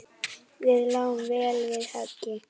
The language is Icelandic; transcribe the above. Við lágum vel við höggi.